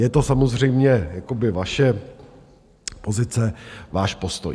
Je to samozřejmě vaše pozice, váš postoj.